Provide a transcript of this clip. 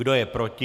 Kdo je proti?